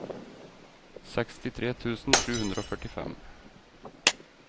sekstitre tusen sju hundre og førtifem